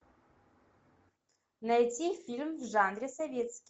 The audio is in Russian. найти фильм в жанре советский